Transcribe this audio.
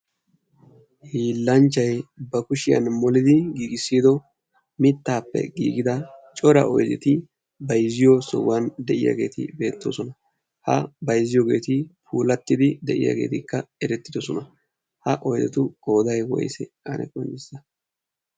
hiillanchchai ba kushiyan molidi giigissido mittaappe giigida cora oideti bayzziyo sohuwan de'iyaageeti beettidosona ha bayzziyoogeeti puulattidi de'iyaageetikka erettidosona ha asatu gooday woyse ane qoncissa